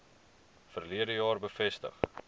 verlede jaar bevestig